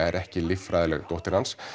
er ekki líffræðileg dóttir hans